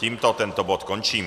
Tímto tento bod končím.